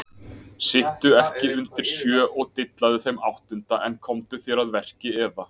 Sittu ekki undir sjö og dillaðu þeim áttunda en komdu þér að verki eða: